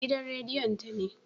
Gidan rediyon ta ne